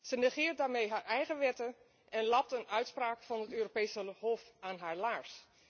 Ze negeert daarmee haar eigen wetten en lapt een uitspraak van het Europese Hof aan haar laars.